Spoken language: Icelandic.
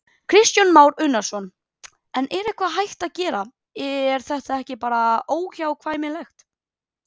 Kristján Már Unnarsson: En er eitthvað hægt að gera, er þetta ekki bara óhjákvæmilegt?